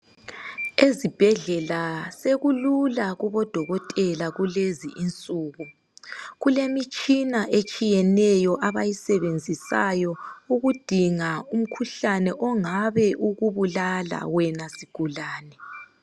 Ezibhedlela sekulula kubodokotela kulezinsuku kulemitshina etshiyeneyo abayisebenzisayo okudinga umkhuhlane ongabe ukubulala wena sigulane.